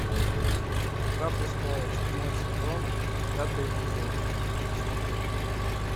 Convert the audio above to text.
игра престолов седьмой сезон пятый эпизод смотреть